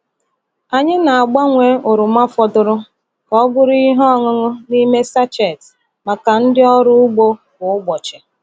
Anyị na-agbanwe oroma fọdụrụ ka ọ bụrụ ihe ọṅụṅụ n’ime sachet maka ndị ọrụ ugbo kwa ụbọchị.